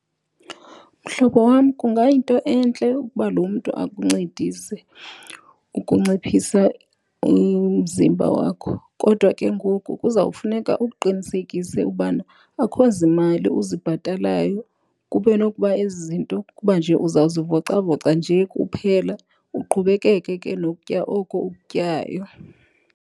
Mhlobo wam, kungayinto entle ukuba lo mntu akuncedise ukunciphisa umzimba wakho. Kodwa ke ngoku kuzawufuneka ukuqinisekise ubana akho zimali uzibhatalayo kube nokuba ezi zinto kuba nje uzawuzivocavoca nje kuphela, uqhubekeke ke nokutya oko ukutyayo.